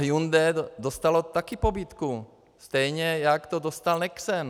Hyundai dostalo taky pobídku, stejně jako to dostal Nexen.